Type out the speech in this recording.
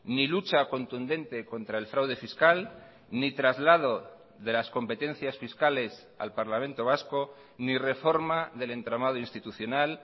ni lucha contundente contra el fraude fiscal ni traslado de las competencias fiscales al parlamento vasco ni reforma del entramado institucional